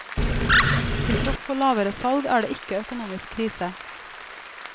Til tross for lavere salg er det ikke økonomisk krise.